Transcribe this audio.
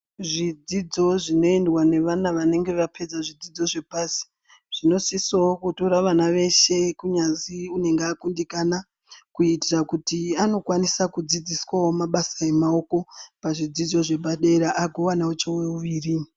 Zvidzidzo zvinoendwa nevana vanenge vapedza zvidzidzo zvepasi zvinosisawo kutorawo vana vese kunyanzi unenge akundikana kuitira anokwanisa kudzidziswawo mabasa emaoko pazvidzidzo zvepadera agowanawo chouviri.